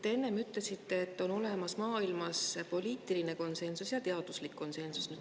Te enne ütlesite, et maailmas on olemas poliitiline konsensus ja teaduslik konsensus.